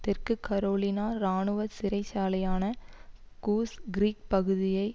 தெற்கு கரோலினா இராணுவ சிறைச்சாலையான கூஸ் கிரீக் பகுதியை